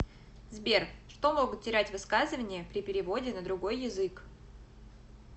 сбер что могут терять высказывания при переводе на другой язык